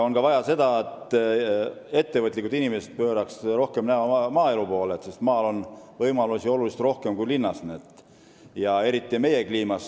On vaja ka seda, et ettevõtlikud inimesed pööraks rohkem oma näo maaelu poole, sest maal on võimalusi oluliselt rohkem kui linnas – eriti meie kliimas.